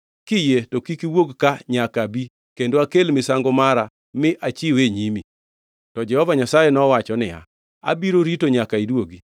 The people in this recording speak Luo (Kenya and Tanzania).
Kiyie to kik iwuog ka nyaka abi kendo akel misango mara mi achiwe e nyimi.” To Jehova Nyasaye nowacho niya, “Abiro rito nyaka iduogi.”